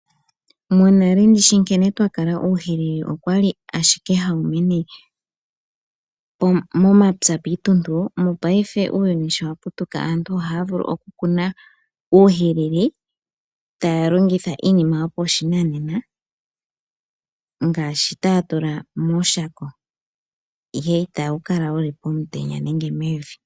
Monale ndishi nkene twa kala uuhwilili okwali ashike hawu mene momapya piintuntu, mopayife uuyuni sho waputuka aantu ohaya vulu okukuna uuhwilili ta ya longotha iinima yo pashinanena ngaashi ta ya tula mooshako ihe ita wu kala wuli pomutenya nenge mevi.